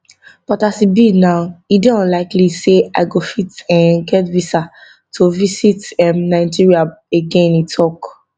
but as e be now e dey unlikely say i go fit um get visa to visit um nigeria again e tok